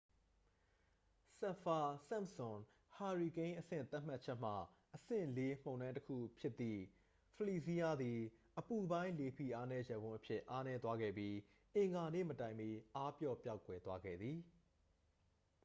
စပ်ဖာ-စန့်ပ်စွန် ဟာရီကိန်းအဆင့်သတ်မှတ်ချက်မှ အဆင့် 4 မုန်တိုင်းတစ်ခုဖြစ်သည့် ဖလီစီးရား သည် အပူပိုင်း လေဖိအားနည်းရပ်ဝန်းအဖြစ် အားနည်းသွားခဲ့ပြီး အင်္ဂါနေ့မတိုင်မီ အားပျော့ပျောက်ကွယ်သွားခဲ့သည်